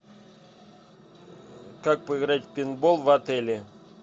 как поиграть в пейнтбол в отеле